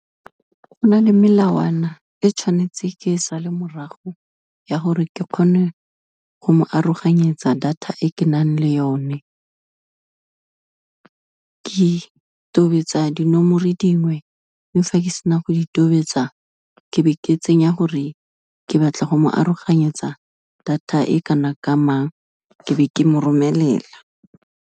Go na le melawana e tshwanetseng ke e sale morago, ya gore ke kgone go mo aroganyetsa data e ke nang le yone. Ke tobetsa dinomoro dingwe, mme fa ke sena go di tobetsa, ke be ke tsenya gore ke batla go mo aroganyetsa data e kana ka mang, ke be ke mo romelela.